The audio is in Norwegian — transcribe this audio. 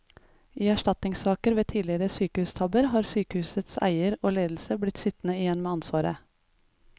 I erstatningssaker ved tidligere sykehustabber har sykehusets eier og ledelse blitt sittende igjen med ansvaret.